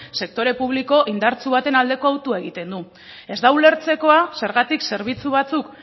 sektore publiko indartsu baten aldeko autoa egiten du ez da ulertzekoa zergatik zerbitzu batzuk